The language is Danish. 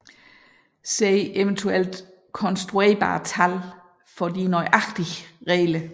Se eventuelt konstruerbare tal for de nøjagtige regler